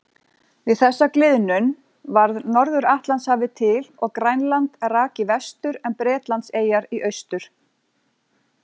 Við þessa gliðnun varð Norður-Atlantshafið til og Grænland rak í vestur en Bretlandseyjar í austur.